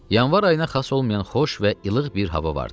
Yanvar ayına xas olmayan xoş və ilıq bir hava vardı.